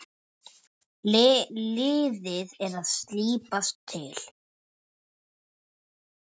Liðið er að slípast til.